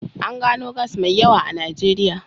An gano gas mai yawa a Najeriya.